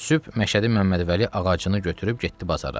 Sübh Məşədi Məmmədvəli ağacını götürüb getdi bazara.